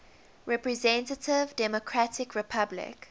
representative democratic republic